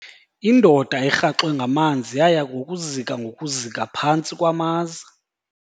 Indoda erhaxwe ngamanzi yaya ngokuzika ngokuzika phantsi kwamaza.